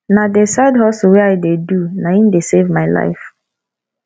na the side hustle wey i dey do na im dey save my life